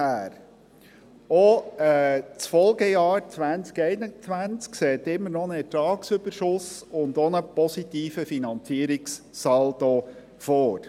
Auch das Folgejahr 2021 sieht immer noch einen Ertragsüberschuss, und auch einen positiven Finanzierungssaldo vor.